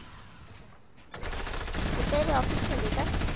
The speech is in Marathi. कुठेरे office मधे का?